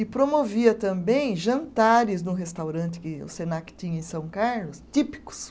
E promovia também jantares no restaurante que o Senac tinha em São Carlos, típicos.